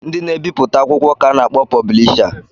Ndị na-ebipụta akwụkwọ ka a na-akpọ pọblisha